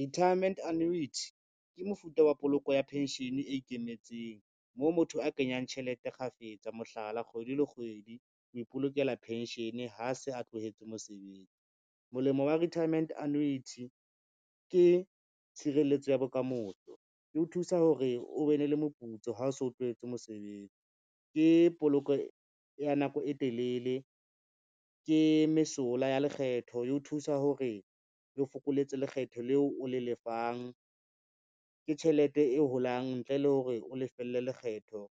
Retirement annuity ke mofuta wa poloko ya pension e ikemetseng, moo motho a kenyang tjhelete kgafetsa, mohlala, kgwedi le kgwedi ho ipolokela penshene ha se a tlohetse mosebetsi. Molemo wa retirement annuity ke tshireletso ya bokamoso le ho thusa hore o be ne le moputso ha o so tlohetse mosebetsi, ke poloko ya nako e telele, ke mesola ya lekgetho ye o thusa hore e fokoletsa lekgetho leo o le lefang. Ke tjhelete e holang ntle le hore o lefelle lekgetho